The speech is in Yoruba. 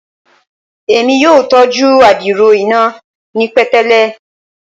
Emi yoo tọju adiro ina ni petele